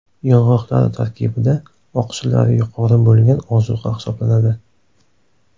Yong‘oqlar tarkibida oqsillar yuqori bo‘lgan ozuqa hisoblanadi.